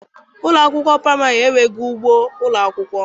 Ụlọ akwụkwọ praịmarị m enweghị ugbo ụlọ akwụkwọ.